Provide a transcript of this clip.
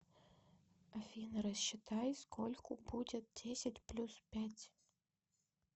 афина рассчитай скольку будет десять плюс пять